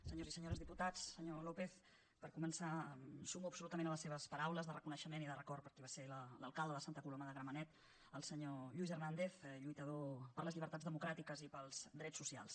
senyors i senyores diputats senyor lópez per començar em sumo absolutament a les seves paraules de reconeixement i de record per a qui va ser l’alcalde de santa coloma de gramenet el senyor lluís hernández lluitador per a les llibertats democràtiques i per als drets socials